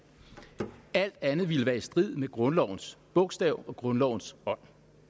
alt andet ville være i strid med grundlovens bogstav og grundlovens ånd